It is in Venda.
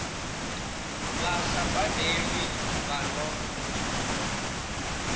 vha sa badelwiho vha no